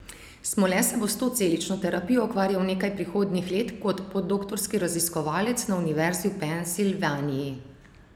Smole se bo s to celično terapijo ukvarjal nekaj prihodnjih let kot podoktorski raziskovalec na Univerzi v Pensilvaniji.